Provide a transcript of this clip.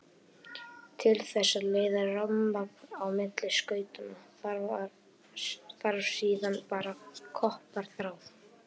Til þess að leiða rafmagn á milli skautanna þarf síðan bara koparþráð.